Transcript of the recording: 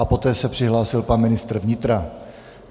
A poté se přihlásil pan ministr vnitra.